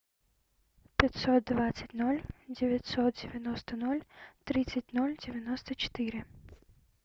пятьсот двадцать ноль девятьсот девяносто ноль тридцать ноль девяносто четыре